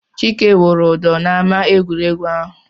Chike wụrụ ụdọ n'ámá egwuregwu ahụ.